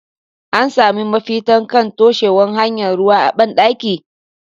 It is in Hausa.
An sami mafita kan taushewa hanyar ruwa a ban dakin?.